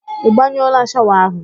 Ị gbanyụọla shawa ahụ?